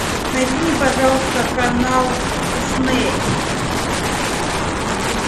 найди мне пожалуйста канал дисней